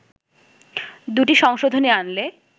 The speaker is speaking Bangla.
দু’টি সংশোধনী আনলে